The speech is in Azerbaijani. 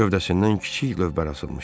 Gövdəsindən kiçik lövbər asılmışdı.